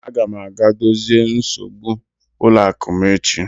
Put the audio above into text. Aga m aga dozie nsogbu ụlọ akụ m echi.